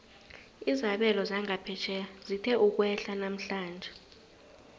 izabelo zangaphetjheya zithe ukwehla namhlanje